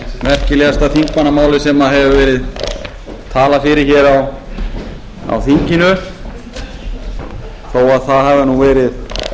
merkilegasta þingmannamáli sem hefur verið talað fyrir hér á þinginu þó það hafi nú verið